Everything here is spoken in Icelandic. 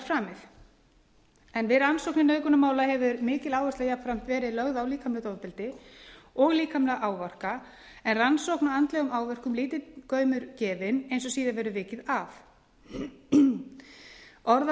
framið við rannsóknir nauðgunarmála hefur mikil áhersla jafnframt verið lögð á líkamlegt ofbeldi og líkamlega áverka en rannsókn á andlegum áverkum gefinn lítill gaumur eins og síðar verður vikið að orðalag hundrað